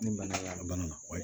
Ni bana y'a bana na wali